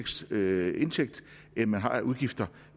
større indtægter end udgifter